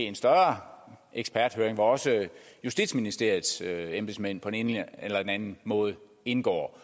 en større eksperthøring hvor også justitsministeriets embedsmænd på den ene eller anden måde indgår